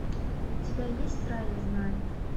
у тебя есть рая знает